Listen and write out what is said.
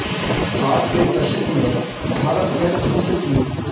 साठ के दशक में भारत में दूध की